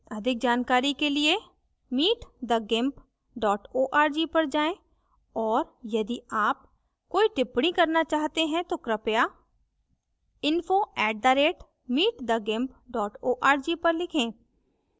अधिक जानकारी के लिए